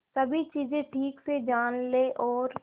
सभी चीजें ठीक से जान ले और